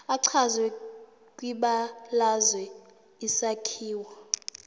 echazwe kwibalazwe isakhiwo